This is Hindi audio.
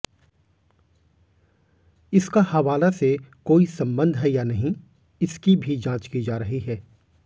इसका हवाला से कोई संबंध है या नहीं इसकी भी जांच की जा रही है